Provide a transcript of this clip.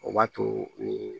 O b'a to